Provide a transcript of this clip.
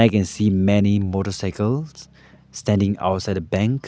I can see many motorcycle standing outside a bank.